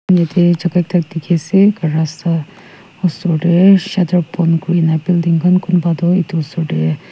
yaete jaka ekta dikhiase rasta osor tae shutter bon kurina building kunba toh edu osor tae.